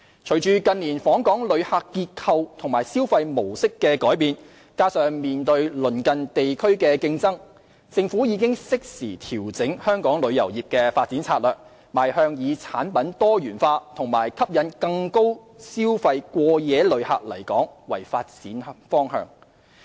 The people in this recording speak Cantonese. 隨着近年訪港旅客結構及消費模式的改變，加上面對鄰近地區的競爭，政府已適時調整香港旅遊業的發展策略，邁向以產品多元化及吸引更多高消費過夜旅客來港為發展方向。